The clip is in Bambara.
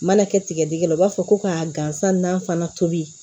Mana kɛ tigɛdɛgɛ la u b'a fɔ ko ka gansan n'an fana toli